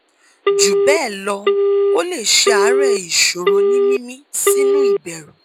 jubelo o le se aare isoro ni mimi sinu iberu